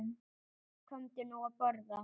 Komdu nú að borða